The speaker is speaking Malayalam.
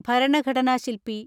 ഭരണഘടനാ ശിൽപ്പി